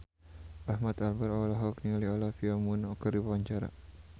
Ahmad Albar olohok ningali Olivia Munn keur diwawancara